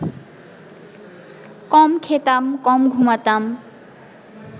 কম খেতাম, কম ঘুমাতাম